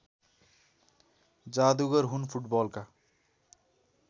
जादुगर हुन् फुटबलका